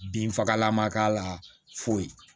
Binfagalan ma k'a la foyi